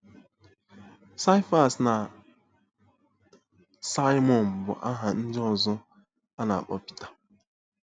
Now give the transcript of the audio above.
Sifas na Saịmọn bụ aha ndị ọzọ a na-akpọ Pita.